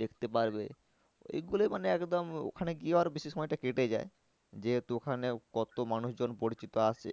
দেখতে পারবে। এই গুলো মানে একদম ওখানে গিয়ে আরো বেশি সময়টা কেটে যায় যেহেতু ওখানে কত মানুষজন পরিচিত আসে।